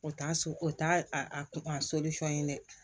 O t'a so o t'a a a a ye dɛ